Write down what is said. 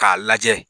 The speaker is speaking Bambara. K'a lajɛ